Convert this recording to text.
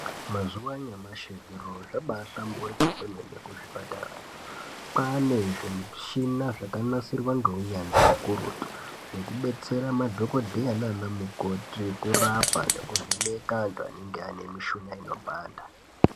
Mazuva anyamashi zviro zvabahlamburuka kwemene kuzvipatarayo kwane zvimichina zvakanasirwa ngeunyanzvi ukurutu zvinodetsera madhokodheya naana mukoti kurapa nekuvheneka antu anenge anemushuna inopanda.